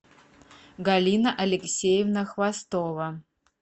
галина алексеевна хвостова